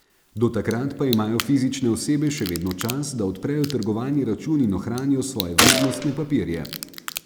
Do takrat pa imajo fizične osebe še vedno čas, da odprejo trgovalni račun in ohranijo svoje vrednostne papirje.